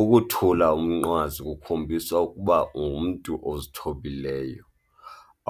Ukuthula umnqwazi kukhombisa ukuba ungumntu ozithebileyo,